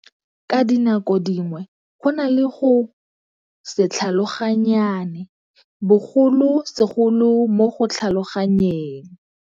Ka dinako dingwe go na le go se tlhaloganyane, bogolosegolo mo go tlhaloganyeng.